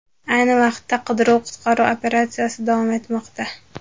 Ayni vaqtda qidiruv-qutqaruv operatsiyasi davom etmoqda.